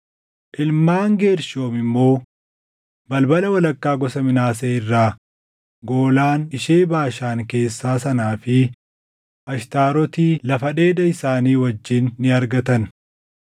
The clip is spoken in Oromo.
Ilmaan Geershoom immoo: Balbala walakkaa gosa Minaasee irraa Goolaan ishee Baashaan keessaa sanaa fi Ashtaaroti lafa dheeda isaanii wajjin ni argatan;